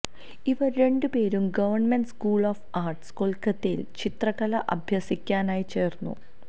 ഇവർ രണ്ടുപേരും Government School of Art കൽക്കട്ടയിൽ ചിത്രകല അഭ്യസിക്കാനായി ചേർന്നു